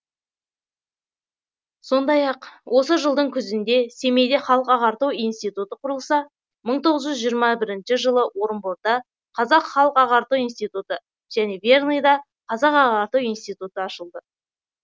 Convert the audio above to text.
сондай ақ осы жылдың күзінде семейде халық ағарту институты құрылса мың тоғыз жүз жиырма алтыншы жылы орынборда қазақ халық ағарту ин ты және верныйда қазақ ағарту институты ашылды